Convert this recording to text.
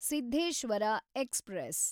Siddheshwara express